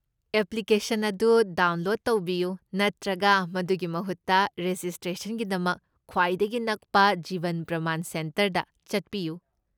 Application ꯑꯗꯨ download ꯇꯧꯕꯤꯌꯨ ꯅꯠꯇ꯭ꯔꯒ ꯃꯗꯨꯒꯤ ꯃꯍꯨꯠꯇ ꯔꯦꯖꯤꯁꯇ꯭ꯔꯦꯁꯟꯒꯤꯗꯃꯛ ꯈ꯭ꯋꯥꯏꯗꯒꯤ ꯅꯛꯄ ꯖꯤꯕꯟ ꯄ꯭ꯔꯃꯥꯟ ꯁꯦꯟꯇꯔꯗ ꯆꯠꯄꯤꯌꯨ꯫